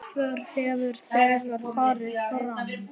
Útför hefur þegar farið fram.